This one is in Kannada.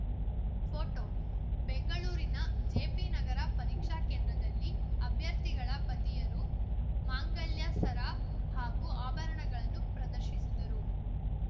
ಫೋಟೋ ಬೆಂಗಳೂರಿನ ಜೆಪಿನಗರ ಪರೀಕ್ಷಾ ಕೇಂದ್ರದಲ್ಲಿ ಅಭ್ಯರ್ಥಿಗಳ ಪತಿಯರು ಮಾಂಗಲ್ಯ ಸರ ಹಾಗೂ ಆಭರಣಗಳನ್ನು ಪ್ರದರ್ಶಿಸಿದರು